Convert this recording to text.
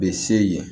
Bɛ se ye